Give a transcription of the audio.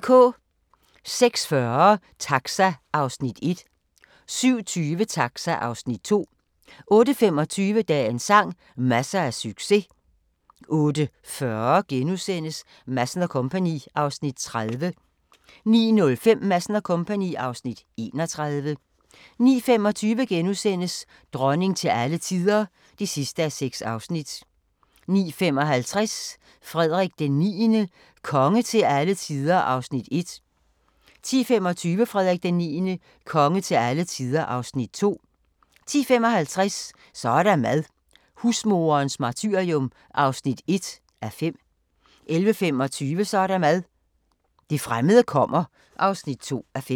06:40: Taxa (Afs. 1) 07:20: Taxa (Afs. 2) 08:25: Dagens sang: Masser af succes 08:40: Madsen & Co. (Afs. 30)* 09:05: Madsen & Co. (Afs. 31) 09:25: Dronning til alle tider (6:6)* 09:55: Frederik IX – konge til alle tider (Afs. 1) 10:25: Frederik IX – konge til alle tider (Afs. 2) 10:55: Så er der mad – husmoderens martyrium (1:5) 11:25: Så er der mad – det fremmede kommer (2:5)